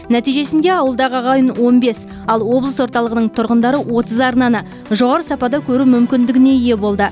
нәтижесінде ауылдағы ағайын он бес ал облыс орталығының тұрғындары отыз арнаны жоғары сапада көру мүмкіндігіне ие болды